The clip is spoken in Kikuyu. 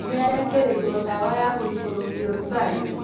Nĩ araĩkĩrĩirwo ndawa ya gũikũrũkia ũrugarĩ.